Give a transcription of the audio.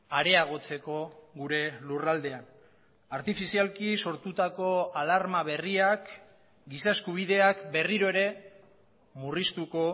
areagotzeko gure lurraldean artifizialki sortutako alarma berriak giza eskubideak berriro ere murriztuko